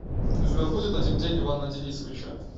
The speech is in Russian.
у тебя будет один день ивана денисовича